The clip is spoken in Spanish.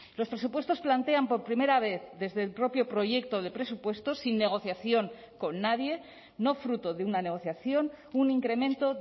los presupuestos plantean por primera vez desde el propio proyecto de presupuestos sin negociación con nadie no fruto de una negociación un incremento